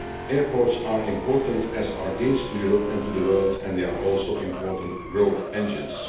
Airports are important as our gates to Europe and to the world and they are also important growth engines.